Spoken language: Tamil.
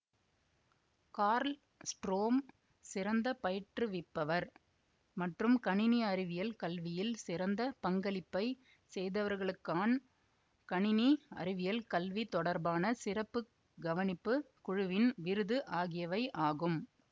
கார்ல்ஸ்ட்ரோம் சிறந்த பயிற்றுவிப்பவர் மற்றும் கணினி அறிவியல் கல்வியில் சிறந்த பங்களிப்பை செய்தவர்களுக்கான் கணினி அறிவியல் கல்வி தொடர்பான சிறப்பு கவனிப்பு குழுவின் விருது ஆகியவை ஆகும்